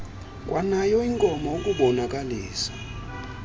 kwanayo inkomo ukubonakalisa